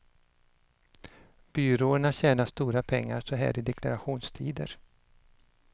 Byråerna tjänar stora pengar så här i deklarationstider.